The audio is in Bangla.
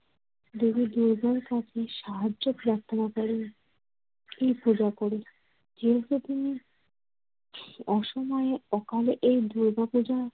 দেবী দুর্গার কাছে সাহায্য প্রার্থনা করেন ঠিক পূজার পরে। যেহেতু তিনি অসময়ে অকালে এ দুর্গাপূজা